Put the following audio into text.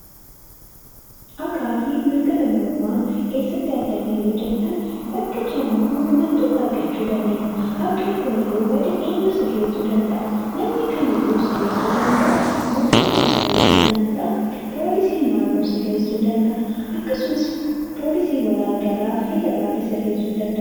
Haqaa fi mirga namummaa eessatti arganna yoo jettan, bakka jiraannu hundumattuu haqa argachuu dandeenya. Haqni kun yoo bade eenyu sirreessuu danda'a? Namni kamiiyyuu sirreessuu danda'a! Mootummaan sirreessuu danda'a! Poolisiin naannoo sirreessuu danda'a! Akkasumas poolisiin waliigalaa federaalli sirreessuu ni danda'a!